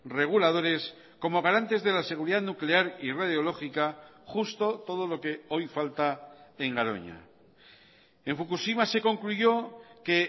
reguladores como garantes de la seguridad nuclear y radiológica justo todo lo que hoy falta en garoña en fukushima se concluyó que